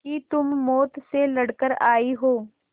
कि तुम मौत से लड़कर आयी हो